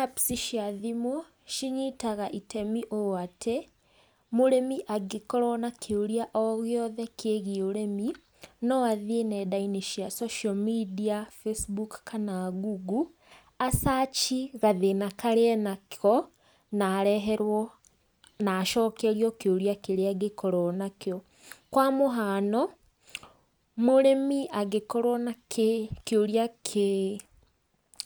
Apps cia thimũ, cinyitaga itemi ũũ atĩ, mũrĩmi angĩkorwo na kĩũria o gĩothe kĩgiĩ ũrĩmi, no athiĩ nenda-inĩ cia social media, Facebook kana Google a search gathĩna karĩa e nako, na areherwo na acokerio kĩũria kĩrĩa angĩkorwo nakĩo. Kwa mũhano, mũrĩmi angĩkorwo na kĩ kĩũria kĩ